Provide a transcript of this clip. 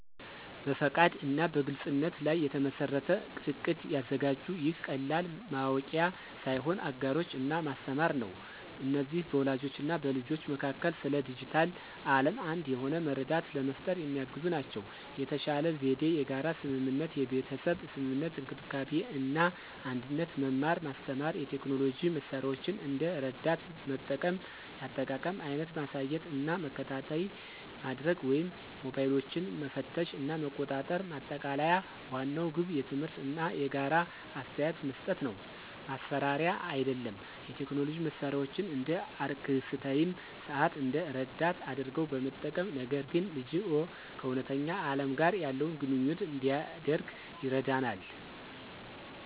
በፈቃድ እና በግልፅነት ላይ የተመሠረተ እቅድ ያዘጋጁ። ይህ ቀላል ማወቂያ ሳይሆን አጋሮች እና ማስተማር ነው። እነዚህ በወላጆች እና በልጆች መካከል ስለ ዲጂታል ዓለም አንድ የሆነ መረዳት ለመፍጠር የሚያግዙ ናቸው። የተሻለ ዘዴ የጋራ ስምምነት (የቤተሰብ ስምምነት፣ እንክብካቤ እና አንድነት፣ መማር ማስተማር፣ የቴክኖሎጂ መሳሪያዎችን እንደ ረዳት መጠቀም፣ የአጠቃቀም አይነት ማሳየት እና መከታተይ ማድርግ ወይም ሞባይሎችን መፈተሽ እና መቆጣጠር። ማጠቃለያ ዋናው ግብ ትምህርት እና የጋራ አስተያየት መስጠት ነው፣ ማስፈራሪያ አይደለም። የቴክኖሎጂ መሳሪያዎችን (እንደ አርክስታይም ሰዓት) እንደ ረዳት አድርገው በመጠቀም፣ ነገር ግን ልጅዎ ከእውነተኛ ዓለም ጋር ያለውን ግንኙነት እንዲያደርግ ይረዳናል።